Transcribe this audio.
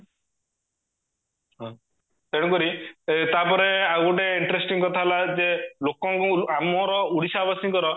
ତେଣୁ କରି ତାପରେ ଆଉ ଗୋଟେ interesting କଥା ହେଲା ଯେ ଲୋକଙ୍କ ଆମର ଓଡିଶା ବାସୀଙ୍କର